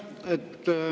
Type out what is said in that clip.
Aitäh!